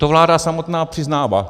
To vláda samotná přiznává.